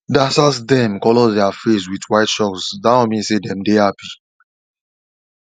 dancers dem colour their face with white shalk that one mean say dem dey happy